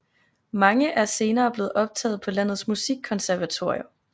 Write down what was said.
Mange er senere blevet optaget på landets musikkonservatorier